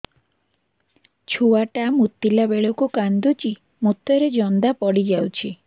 ଛୁଆ ଟା ମୁତିଲା ବେଳକୁ କାନ୍ଦୁଚି ମୁତ ରେ ଜନ୍ଦା ପଡ଼ି ଯାଉଛି